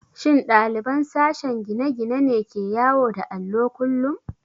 Shin ɗaliban sashen gine-gine ne ke yawo da allo kullum?